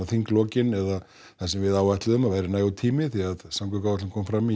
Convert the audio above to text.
þinglokin eða það sem við áætluðum að yrði nægur tími því að samgönguáætlun kom fram